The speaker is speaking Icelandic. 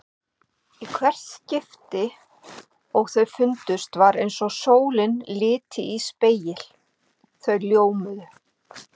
Í hvert skipti og þau fundust var eins og sólin liti í spegil: þau ljómuðu.